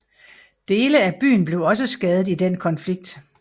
Dele af byen blev også skadet i den konflikt